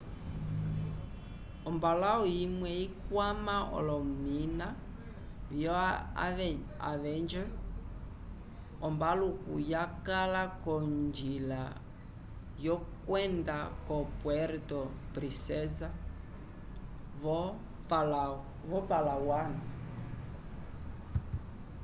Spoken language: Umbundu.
ombalãwu imwe ikwama olomina vio avenger ombaluku yakala k'onjila yokwenda ko puerto princesa vo-palawan